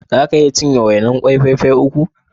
Za ki iya cinye wainar ƙwai fai fai uku?